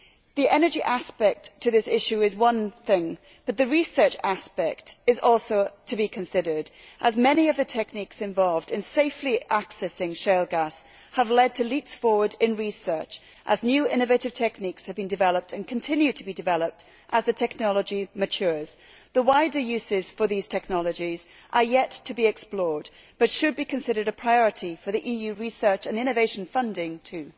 The energy aspect to this issue is one thing. But the research aspect is also to be considered, as many of the techniques involved in safely accessing shale gas have led to leaps forward in research as new innovative techniques have been developed and continue to be developed as the technology matures. The wider usages for these technologies are yet to be explored but should be considered a priority for EU research and innovation funding too.